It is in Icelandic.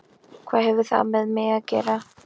Hvað hefur það með mig að gera?